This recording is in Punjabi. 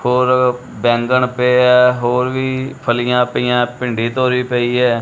ਔਰ ਬੈਂਗਣ ਪੇ ਏ ਹੋਰ ਵੀ ਫਲੀਆਂ ਪਈਆਂ ਭਿੰਡੀ ਧੋਰੀ ਪਈ ਹੈ।